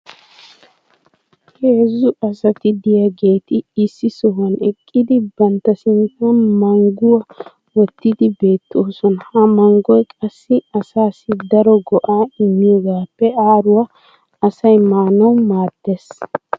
heezzu asati diyaageeti issi sohuwan eqqidi bantta sinttan mangguwa wottidi beetoosona. ha manggoy qassi asaassi daro go'aa immiyoogaappe aaruwa asay maanawu maadees.